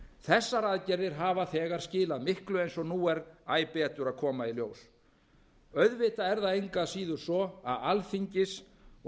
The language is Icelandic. þessar aðgerðir hafa þegar skilað miklu eins og nú er æ betur að koma í ljós auðvitað er það engu að síður svo að alþingis og